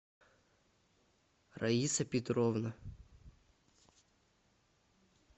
раиса петровна